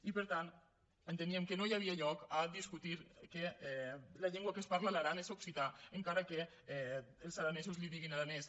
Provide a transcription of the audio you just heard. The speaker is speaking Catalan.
i per tant enteníem que no hi havia lloc a discutir que la llengua que es parla a l’aran és occità encara que els aranesos en diguin aranès